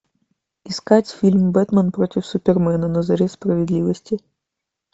искать фильм бэтмен против супермена на заре справедливости